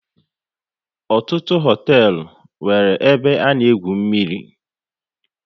Ọtụtụ hoteelu nwéré ebe a na egwu mmiri